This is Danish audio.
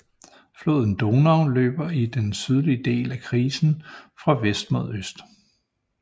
Floden Donau løber i den sydlige del af krisen fra vest mod øst